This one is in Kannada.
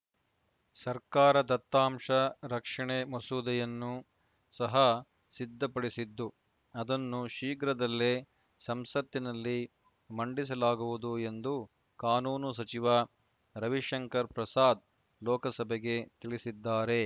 ಸರ್ಕಾರ ದತ್ತಾಂಶ ರಕ್ಷಣೆ ಮಸೂದೆಯನ್ನೂ ಸಹ ಸಿದ್ಧಪಡಿಸಿದ್ದು ಅದನ್ನು ಶೀಘ್ರದಲ್ಲೇ ಸಂಸತ್ತಿನಲ್ಲಿ ಮಂಡಿಸಲಾಗುವುದು ಎಂದು ಕಾನೂನು ಸಚಿವ ರವಿಶಂಕರ್‌ ಪ್ರಸಾದ್‌ ಲೋಕಸಭೆಗೆ ತಿಳಿಸಿದ್ದಾರೆ